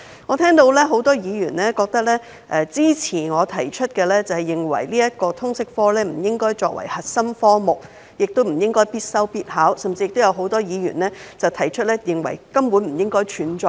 我聽到很多議員支持我提出的建議，不應將通識教育科列作核心科目，並規定學生必修必考，多位議員甚至認為通識科根本不應該存在。